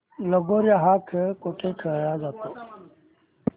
लगोर्या हा खेळ कुठे खेळला जातो